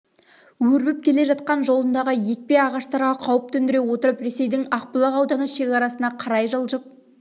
өрбіп келе жатқан жолындағы екпе ағаштарға қауіп төндіре отырып ресейдің ақбұлақ ауданы шекарасына қарай жылжып